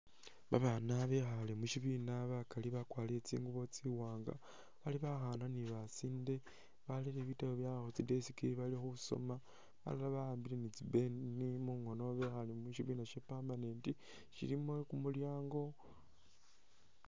Babaana bekhale mushibina bakali bakwalire tsingubo tsiwaanga bali bakhaana ni basinde balire bitambu byawe khutsi desk bali khusoma balala bawambile ni tsi pen mungoono bali mushibina sha permanent shilimo kumulyango